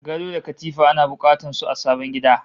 Gado da katifa ana bukatar su a sabon gida